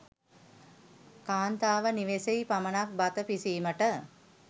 කාන්තාව නිවසෙහි පමණක් බත පිසීමට